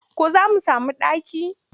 Ko za mu sami ɗaki?